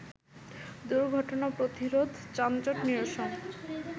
দুর্ঘটনা প্রতিরোধ, যানজট নিরসন